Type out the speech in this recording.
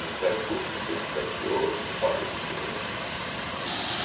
Ministério Público, não sei se cansou ou por falta de interesse.